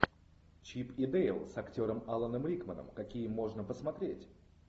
чип и дейл с актером аланом рикманом какие можно посмотреть